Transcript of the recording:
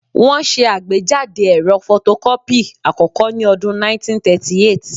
Wọ́n ṣe àgbéjáde ẹ̀rọ fotokọ́pì àkọ́kọ́ ní ọdún 1938